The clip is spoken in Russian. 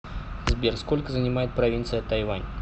сбер сколько занимает провинция тайвань